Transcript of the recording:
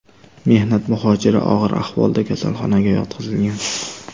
Mehnat muhojiri og‘ir ahvolda kasalxonaga yotqizilgan.